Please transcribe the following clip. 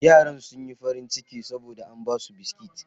Yaran sun yi farin ciki saboda an ba su biskit.